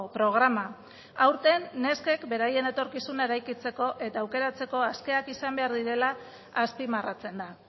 programa aurten neskek beraien etorkizuna eraikitzeko eta aukeratzeko askeak izan behar direla azpimarratzen da